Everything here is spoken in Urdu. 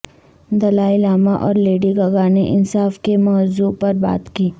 دلائی لاما اور لیڈی گگا نے انصاف کے موضوع پر بات کی